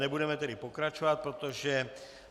Nebudeme tedy pokračovat, protože